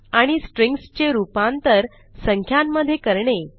आणि स्ट्रिंग्ज चे रूपांतर संख्यांमधे करणे